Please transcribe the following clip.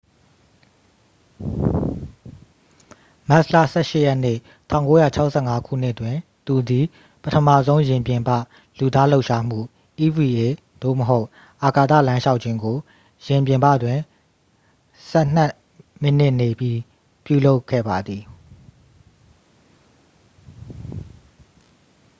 မတ်လ ၁၈ရက်နေ့၊ ၁၉၆၅ခုနှစ်တွင် သူသည် ပထမဆုံး ယာဉ်ပြင်ပ လူသားလှုပ်ရှားမှု eva သို့မဟုတ် အာကာသလမ်းလျှောက်ခြင်းကို ယာဉ်ပြင်ပတွင် ဆယ်နှစ်မိနစ်နေပြီး ပြုလုပ်ခဲ့ပါသည်။